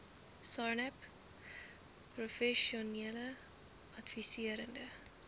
sarnap professionele adviserende